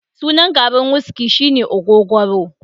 sunan garin wuski shine ogogoro